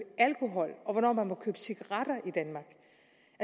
alkohol og hvornår man må købe cigaretter